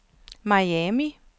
Miami